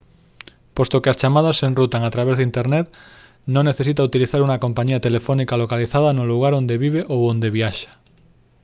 posto que as chamadas se enrutan a través de internet non necesita utilizar unha compañía telefónica localizada no lugar onde vive ou a onde viaxa